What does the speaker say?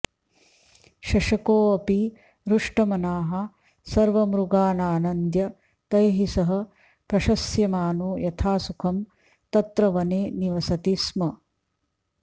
शशकोऽपि हृष्टमनाः सर्वमृगानानन्द्य तैः सह प्रशस्यमानो यथासुखं तत्र वने निवसति स्म